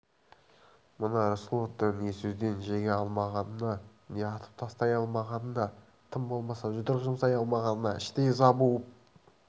мына рысқұловты не сөзден жеңе алмағанына не атып тастай алмағанына тым болмаса жұдырық жұмсай алмағанына іштей ыза буып